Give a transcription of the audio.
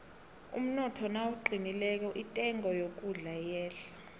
umnotho nawuqinileko intengo yokudla iyehla